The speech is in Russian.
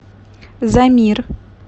замир